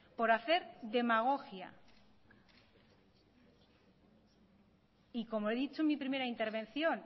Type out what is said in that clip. por hacer demagogia y como he dicho en mi primera intervención